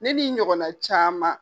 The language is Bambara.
Ne ni ɲɔgɔnna caman